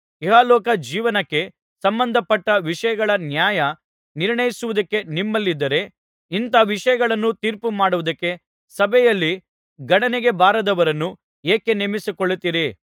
ಇಹಲೋಕ ಜೀವನಕ್ಕೆ ಸಂಬಂಧಪಟ್ಟ ವಿಷಯಗಳ ನ್ಯಾಯ ನಿರ್ಣಯಿಸುವುದಕ್ಕೆ ನಿಮ್ಮಲ್ಲಿದ್ದರೆ ಇಂಥ ವಿಷಯಗಳನ್ನು ತೀರ್ಪು ಮಾಡುವುದಕ್ಕೆ ಸಭೆಯಲ್ಲಿ ಗಣನೆಗೆ ಬಾರದವರನ್ನು ಏಕೆ ನೇಮಿಸಿಕೊಳ್ಳುತ್ತೀರಿ